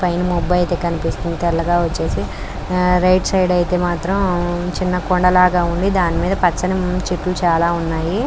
పైన మొబ్బు అయితే కనిపిస్తుంది తెల్లగా వచ్చేసి రైట్ సైడ్ ఐతే మాత్రం చిన్న కొండలాగా ఉంది దాని మీద పచ్చని చెట్లు చానా ఉన్నాయి.